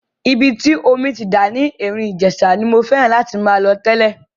Ibi tí omi ti ń dà ní Erin Ijesa ni mo fẹ́ràn láti máa lọ tẹ́lẹ̀.